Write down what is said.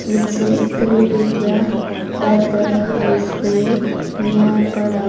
which says sri vidhyavardhaka high school miyapada --